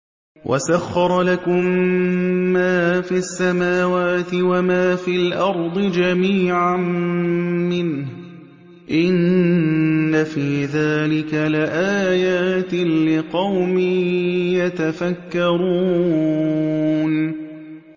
وَسَخَّرَ لَكُم مَّا فِي السَّمَاوَاتِ وَمَا فِي الْأَرْضِ جَمِيعًا مِّنْهُ ۚ إِنَّ فِي ذَٰلِكَ لَآيَاتٍ لِّقَوْمٍ يَتَفَكَّرُونَ